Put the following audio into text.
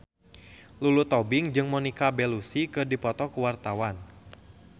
Lulu Tobing jeung Monica Belluci keur dipoto ku wartawan